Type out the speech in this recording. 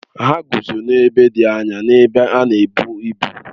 Ha guzo n'ebe dị anya n'ebe a na-ebu ibu